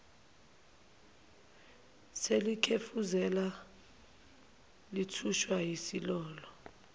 selikhefuzela lithuswa yisililo